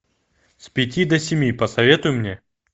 с пяти до семи посоветуй мне